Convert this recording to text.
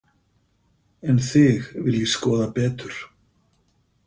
En þig vil ég skoða betur.